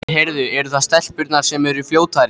Heyrðu, eru það stelpurnar sem eru fljótari?